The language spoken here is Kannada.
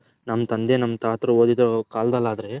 ನಮ್ಮ ತಂದೆ ನಮ್ಮ ತಾತರು ಓದಿದ ಕಾಲ್ದಲ್ ಆದ್ರೆ